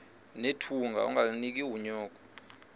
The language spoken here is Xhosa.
nethunga ungalinik unyoko